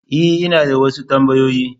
E, ina da wasu tambayoyi.